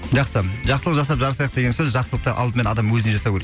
жақсы жақсылық жасап жарысайық деген сөз жақсылықты алдымен адам өзіне жасау керек